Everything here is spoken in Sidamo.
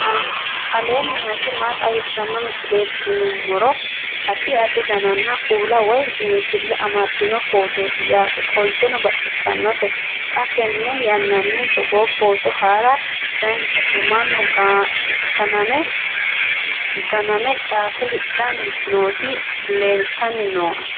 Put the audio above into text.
aleenni nooti maa xawisanno misileeti yinummoro addi addi dananna kuula woy biinfille amaddino footooti yaate qoltenno baxissannote xa tenne yannanni togoo footo haara danchate mannu ganame caate hidhanni nooti leltanni nooe